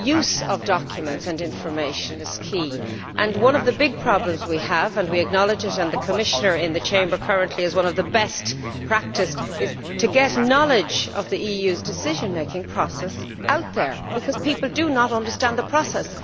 The use of documents and information is key, and one of the big problems we have and we acknowledge it, and the Commissioner in the Chamber currently is one of the best practised is to get knowledge of the EU's decision making process out there, because people do not understand the process.